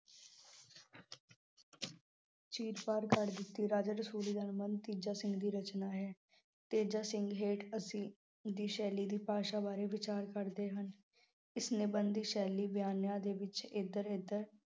ਚੀਰ ਫਾੜ ਕਰ ਦਿੱਤੀ। ਰਾਜਾ ਰਸੂਲੀ ਦਾ ਤੇਜਾ ਸਿੰਘ ਦੀ ਰਚਨਾ ਹੈ। ਤੇਜਾ ਸਿੰਘ ਹੇਠ ਅਸੀਂ ਸ਼ੈਲੀ ਦੀ ਭਾਸ਼ਾ ਬਾਰੇ ਵਿਚਾਰ ਕਰਦੇ ਹਨ। ਉਸਨੇ ਬਣਦੀ ਸ਼ੈਲੀ ਬਿਆਨਾਂ ਦੇ ਵਿੱਚ ਇੱਧਰ ਉਧਰ